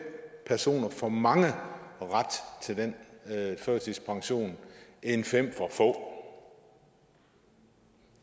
personer for mange ret til den førtidspension end fem for få